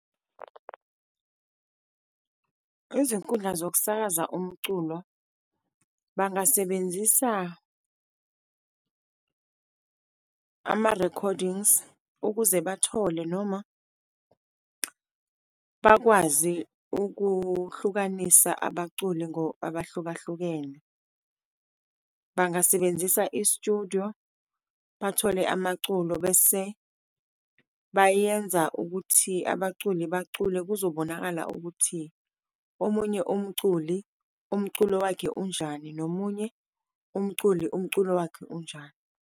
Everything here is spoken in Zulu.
Izinkundla zokusakaza umculo, bangasebenzisa ama-recordings, ukuze bathole noma bakwazi ukuhlukanisa abaculi abahlukahlukene. Bangasebenzisa i-studio, bathole amaculo bese bayenza ukuthi abaculi bacule. Kuzobonakala ukuthi omunye umculi, umculo wakhe unjani, nomunye umculi, umculo wakhe unjani.